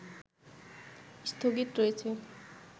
স্থগিত রয়েছে